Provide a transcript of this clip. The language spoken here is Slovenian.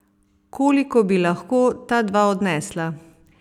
Koliko bi lahko ta dva odnesla?